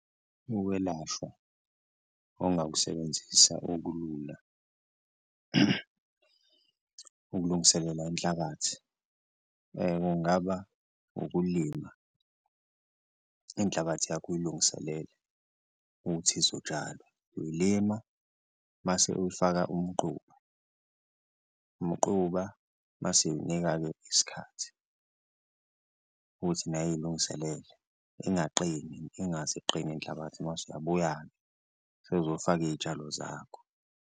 Ukwelashwa ongakusebenzisa okulula ukulungiselela inhlabathi kungaba ukulima inhlabathi yakho uyilungiselele ukuthi izotshalwa, uyilima mase uwufaka umquba umquba mase uwunika-ke isikhathi ukuthi nayo iyilungiselele ingaqini ingaze iqine inhlabathi mase uyabuya-ke usuzofaka iy'tshalo zakho.